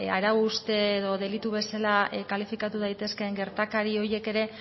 ba bueno arau hauste edo delitu bezala kalifikatu daitezkeen gertari horiek ere